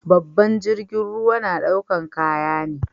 Babban jirgin ruwa na daukar kaya ne.